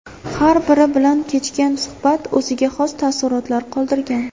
Har biri bilan kechgan suhbat o‘ziga xos taassurotlar qoldirgan.